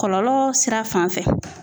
Kɔlɔlɔ sira fan fɛ